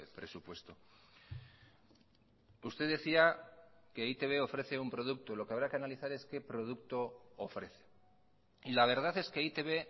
presupuesto usted decía que e i te be ofrece un producto lo que habrá que analizar es qué producto ofrece y la verdad es que e i te be